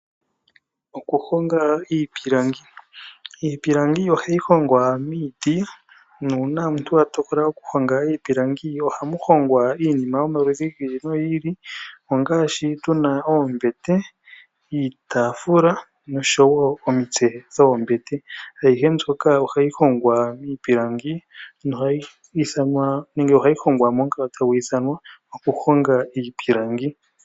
Okuhonga iipilangi, iipilangi ohayi hongwa miiti nuuna omuntu wa tokola oku honga iipilangi ohamu hongwa iinima yomaludhi gi ili nogi ili ongaashi tuna oombete, iitaafula nomitse dhoombete ayihe mbyono ohayi hongwa miipilangi nohayi ithanwa nenge ohayi hongwa momukalo tagu ithanwa okuhonga iipilangi.